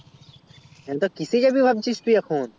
হ্যাঁ তা কিসে জাবি ভাবছিস এখন